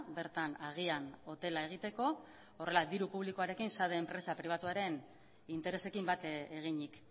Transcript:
bertan agian hotela egiteko horrela diru publikoarekin sade enpresa pribatuaren interesekin bat eginik